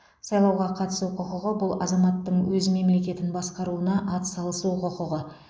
сайлауға қатысу құқығы бұл азаматтың өз мемлекетін басқаруына атсалысу құқығы